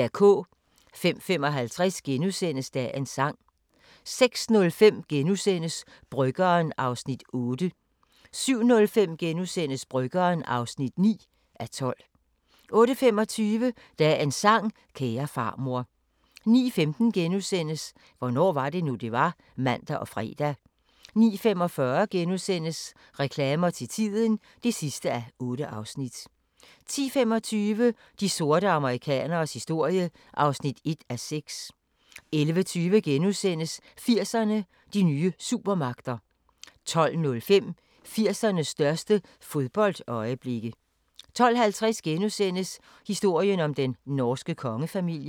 05:55: Dagens sang * 06:05: Bryggeren (8:12)* 07:05: Bryggeren (9:12)* 08:25: Dagens sang: Kære farmor 09:15: Hvornår var det nu, det var? *(man og fre) 09:45: Reklamer til tiden (8:8)* 10:25: De sorte amerikaneres historie (1:6) 11:20: 80'erne: De nye supermagter * 12:05: 80'ernes største fodboldøjeblikke 12:50: Historien om den norske kongefamilie (3:7)*